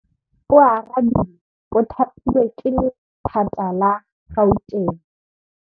Oarabile o thapilwe ke lephata la Gauteng.